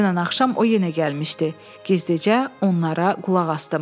Dünən axşam o yenə gəlmişdi, gizdicə onlara qulaq asdım.